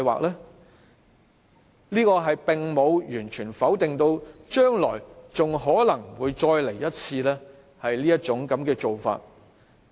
這說法並無完全否定將來還可能再次用這種做法。